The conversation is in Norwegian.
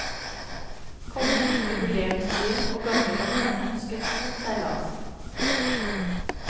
Kongen, jubileumsbyen og gamlelandet ønsket god seilas.